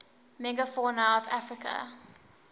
megafauna of africa